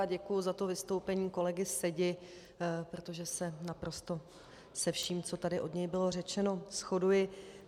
Já děkuji za to vystoupení kolegy Sedi, protože se naprosto se vším, co tady od něj bylo řečeno, shoduji.